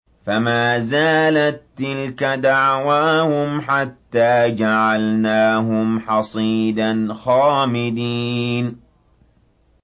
فَمَا زَالَت تِّلْكَ دَعْوَاهُمْ حَتَّىٰ جَعَلْنَاهُمْ حَصِيدًا خَامِدِينَ